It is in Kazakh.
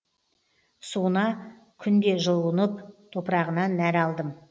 суына күнде жуынып топырағынан нәр алдым